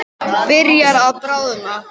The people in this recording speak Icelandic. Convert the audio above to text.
Byrjar að bráðna.